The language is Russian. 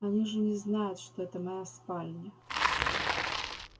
они же не знают что это моя спальня